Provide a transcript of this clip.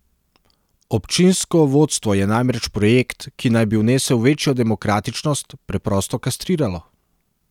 Občinsko vodstvo je namreč projekt, ki naj bi vnesel večjo demokratičnost, preprosto kastriralo.